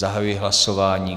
Zahajuji hlasování.